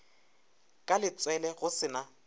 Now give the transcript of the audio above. ka letswele go se na